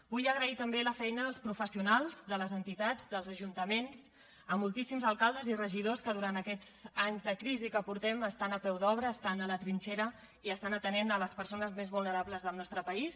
vull agrair també la feina dels professionals de les entitats dels ajuntaments a moltíssims alcaldes i regidors que durant aquests anys de crisi que portem estan a peu d’obra estan a la trinxera i estan atenent les persones més vulnerables del nostres país